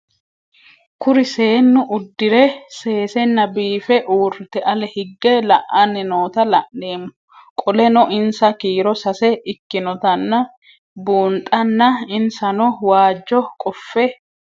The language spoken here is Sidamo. Kuri seenu udire sesena biife urite ale hige la'ani noota la'nemo qoleno insa kiiro sase ikinotana bunxana insano waajo qofe